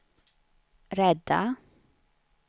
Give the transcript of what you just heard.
rädda